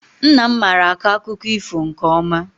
Nna m mara akọ akụkọ ifo nke ọma.